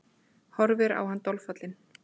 Horfir á hann dolfallin.